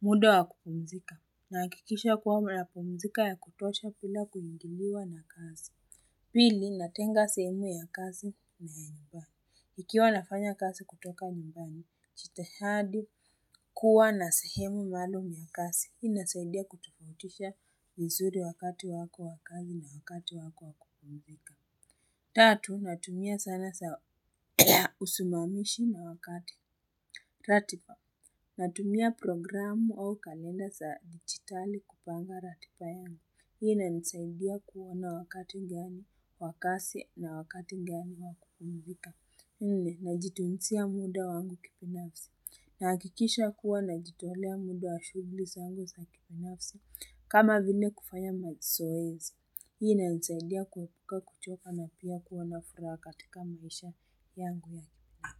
Muda wa kupumzika. Nahakikisha kuwa napumzika ya kutosha bila kuingiliwa na kazi. Pili, natenga sehemu ya kazi na ya nyumbani. Ikiwa nafanya kazi kutoka nyumbani, jitihadi kuwa na sehemu maalum ya kazi. Hii inasaidia kutofautisha ni nzuri wakati wako wa kazi na wakati wako wa kupumzika. Tatu, natumia zana za usimamishi na wakati ratiba. Natumia programu au kalenda za digitali kupanga ratiba yangu. Hii inasaidia kuona wakati gani wa kazi na wakati gani wa kupumzika. Nne, najitunzia muda wangu kibinafsi. Nahakikisha kuwa najitolea muda wa shughuli zangu sa kibinafsi. Kama vile kufanya mazoezi hii inanisaidia kuepuka kuchoka na pia kuwa na furaha katika maisha yangu ya.